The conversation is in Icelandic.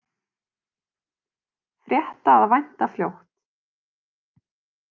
Frétta að vænta fljótt